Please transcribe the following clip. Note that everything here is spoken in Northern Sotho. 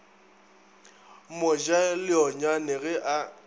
mo ja leonyane ge a